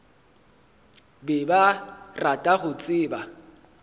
be ba rata go tseba